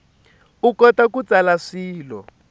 u kota ku tsala swilo